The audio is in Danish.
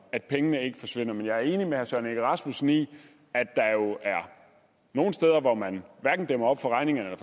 at pengene ikke forsvinder men jeg er enig med herre søren egge rasmussen i at der er nogle steder hvor man hverken dæmmer op for regningerne